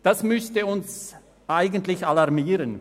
Das müsste uns eigentlich alarmieren.